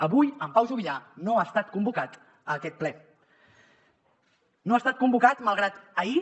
avui en pau juvillà no ha estat convocat a aquest ple no ha estat convocat malgrat que ahir